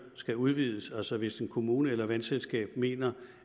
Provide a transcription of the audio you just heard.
skal udvides altså hvis en kommune eller et vandselskab mener